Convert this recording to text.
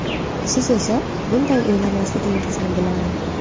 Siz esa bunday o‘ylamasligingizni bilaman.